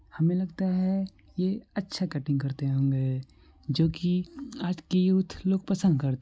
हमे लगता हैं की ये अच्छा कटिंग करते होंगेजो की आज की यूथ लोग पसंद करते--